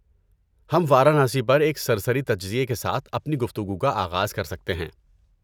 ہم وارانسی پر ایک سرسری تجزیے کے ساتھ اپنی گفتگو کا آغاز کر سکتے ہیں۔